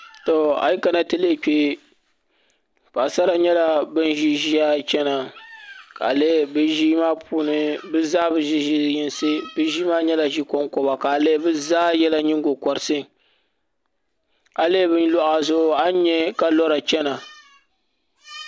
Ayi kana n yuli kpee paɣisara nyɛla ban ziri ziiya chana ka lihi bɛ ziimaa puuni bɛ zaa bɛ ziri zinyiŋsi bɛ ziimaa nyɛla zi konkoba kalihi bɛ zaa yɛla niŋgokoriti bɛ luɣa zuɣu a nya kalora chana